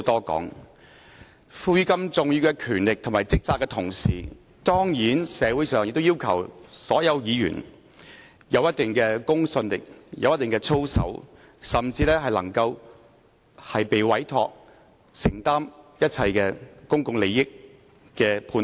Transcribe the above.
在獲賦予如此重要的權力和職責的同時，當然，社會上亦要求所有議員具備一定的公信力和操守，甚至受委託和承擔，作出一切關乎公共利益的判斷。